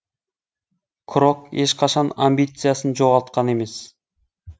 крок ешқашан амбициясын жоғалтқан емес